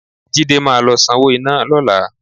Jídé máa lọ sanwó iná lọ́la